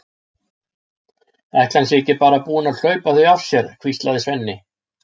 Ætli hann sé ekki bara búinn að hlaupa þau af sér, hvíslaði Svenni.